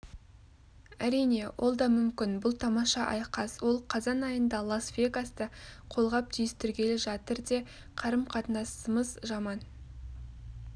әрине ол дамүмкін бұл тамаша айқас ол қазан айында лас-вегасте қолғап түйістіргелі жатыр де қарым-қатынасымыз жаман